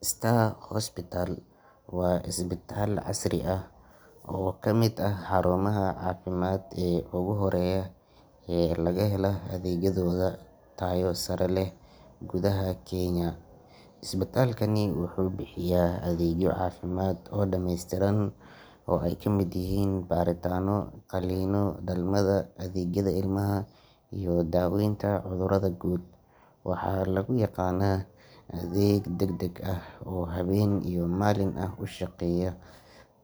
Star Hospital waa isbitaal casri ah oo ka mid ah xarumaha caafimaad ee ugu horreeya ee laga helo adeegyadooda tayo sare leh gudaha Kenya. Isbitaalkani wuxuu bixiya adeegyo caafimaad oo dhameystiran oo ay ka mid yihiin baaritaanno, qalliinno, dhalmada, adeegyada ilmaha iyo daaweynta cudurrada guud. Waxaa lagu yaqaannaa adeeg degdeg ah oo habeen iyo maalin ah u shaqeeya,